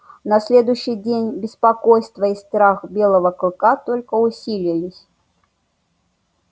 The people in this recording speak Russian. на следующий день беспокойство и страх белого клыка только усилились